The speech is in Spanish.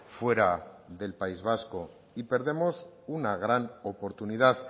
fuera del país vasco y perdemos una gran oportunidad